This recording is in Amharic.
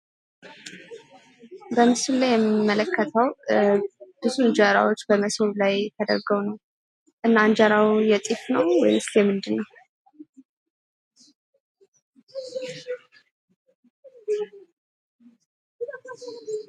በምስሉ ላይ የምንመለከተው ብዙ እንጀራዎች ሞሰብ ላይ ተደርገው ነው። እና እንጀራው የጤፍ ነው ወይስ የምንድን ነው?